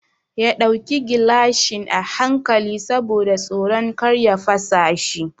Ya ɗauki gilashin a hankali saboda tsoron kar ya fasa shi.